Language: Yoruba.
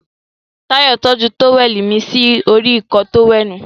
Táyọ̀ tọ́jú tówẹ̀lì mí sí orí Ìkọ́ọ tówẹ́ẹ̀nù